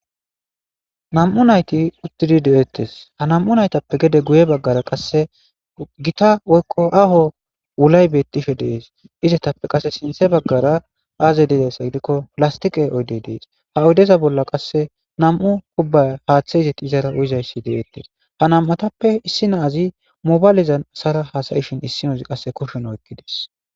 Nam'u nayti uttidi deeettes ha nam'u naytappe gede guye baggara qasse gita woykko aho wulay bettishe dees izetappe qasse sinthe baggara aaze dedessa gidikko pilastiqe oyde dees ha oydeza bolla qasse nam'u kubba haaththe izeti izara uyizayssi deeettes ha nam'atappe issi naazi mobaylizan asara hasayishin issi noz qasse kushen oykki dees.